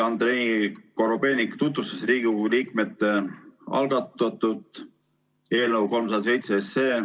Andrei Korobeinik tutvustas Riigikogu liikmete algatatud eelnõu 307.